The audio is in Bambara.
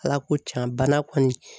Ala ko tiɲan bana kɔni